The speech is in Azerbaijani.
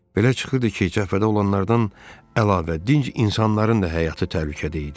Belə çıxırdı ki, Cəbhədə olanlardan əlavə dinc insanların da həyatı təhlükədə idi.